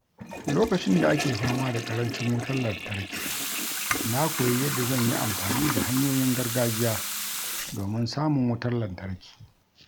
Lokacin da ake fama da ƙarancin wutar lantarki, na koyi yadda zan yi amfani da hanyoyin gargajiya domin samun wutar lantarki.